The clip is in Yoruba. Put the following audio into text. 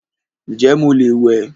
Ǹjẹ́ mo lè wẹ́